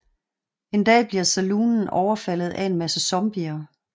En dag bliver saloonen overfaldet af en masse zombier